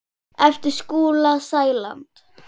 eftir Skúla Sæland.